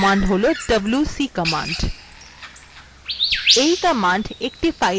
আমদের পরবর্তী command হল wc command